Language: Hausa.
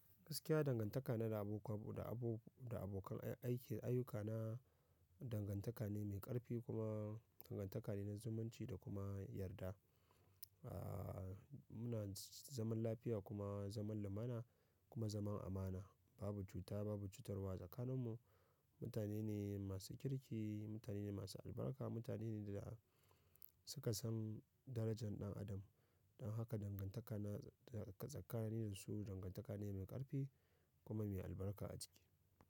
Gaskiya dangantaka na da abokan da abokan aiki ayuka na dangantaka ne mai ƙarfi kuma dangantaka ne na zumunci da kuma yarda. A muna zaman lafiya kuma lumana kuma zaman amana. Babu cuta, babu cutarwa tsakaninmu. Mutane ne masu kirki, mutane ne masu albarka, mutane ne da suka san darajan ɗan adam. Dan haka dangantaka na tsakani da su dangantaka ne mai ƙarfi kuma mai albarka a ciki.